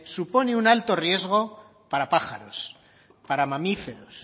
supone un alto riesgo para pájaros para mamíferos